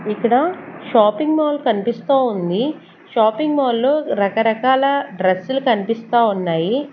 ఇక్కడ shopping mall కనిపిస్తా ఉంది షాపింగ్ మాల్ లో రకరకాల డ్రెస్సులు కనిపిస్తా ఉన్నాయి.